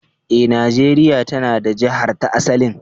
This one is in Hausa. Eh, Najeria ta na da Jihar da asalinta.